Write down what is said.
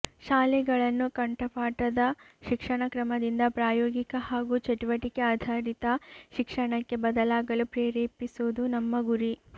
ಶಾಲೆಗಳನ್ನು ಕಂಠಪಾಠದ ಶಿಕ್ಷಣ ಕ್ರಮದಿಂದ ಪ್ರಾಯೋಗಿಕ ಹಾಗೂ ಚಟುವಟಿಕೆ ಆಧಾರಿತ ಶಿಕ್ಷಣಕ್ಕೆ ಬದಲಾಗಲು ಪ್ರೇರೇಪಿಸುವುದು ನಮ್ಮ ಗುರಿ